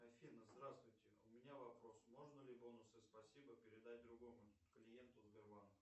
афина здравствуйте у меня вопрос можно ли бонусы спасибо передать другому клиенту сбербанка